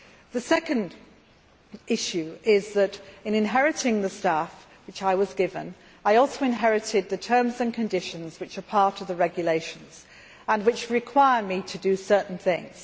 The second issue is that, in inheriting the staff which I was given, I also inherited the terms and conditions which are part of the regulations and which require me to do certain things.